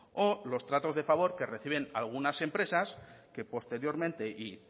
o los tratos de favor que reciben algunas empresas que posteriormente